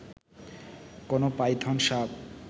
কোন পাইথন সাপ